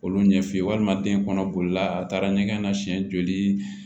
Olu ɲɛf'i ye walima den kɔnɔ bolila a taara ɲɛgɛn na siɲɛ joli